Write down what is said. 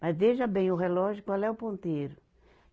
Mas veja bem o relógio, qual é o ponteiro?